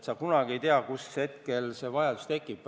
Sa kunagi ei tea, millisel hetkel vajadus tekib.